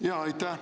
Aitäh!